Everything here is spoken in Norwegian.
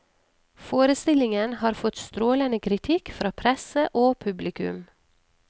Forestillingen har fått strålende kritikk fra presse og publikum.